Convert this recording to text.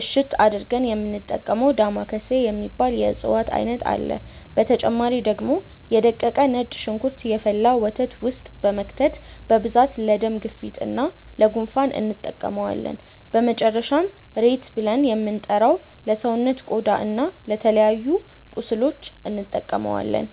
እሽት አድርገን የሚንጠቀመው ዳማከሴ የሚባል የእፅዋት አይነት አለ፣ በተጨማሪ ደግሞ የ ደቀቀ ነጭ ሽንኩርት የፈላ ወተት ውስጥ በመክተት በብዛት ለደም ግፊት እና ለ ጉንፋን እንጠቀመዋለን፣ በመጨረሻም ሬት ብልን የምንጠራው ለሰውነት ቆዳ እና ለተለያዩ ቁስሎች እንጠቀማለን።